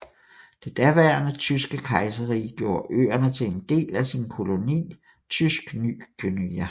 Det daværende Tyske Kejserrige gjorde øerne til en del af sin koloni Tysk Ny Guinea